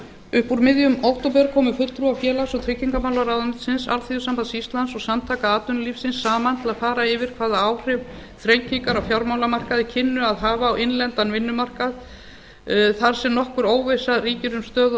upp úr miðjum október komu fulltrúar félags og tryggingamálaráðuneytisins alþýðusambands íslands og samtaka atvinnulífsins saman til að fara yfir hvaða áhrif þrengingar á fjármálamarkaði kynnu að hafa á innlendan vinnumarkað þar sem nokkur óvissa ríkir um stöðu og